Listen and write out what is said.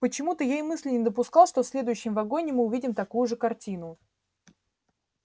почему-то я и мысли не допускал что в следующем вагоне мы увидим такую же картину